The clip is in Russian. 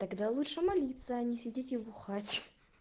тогда лучше молиться а не сидите и бухать